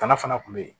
Bana fana kun be yen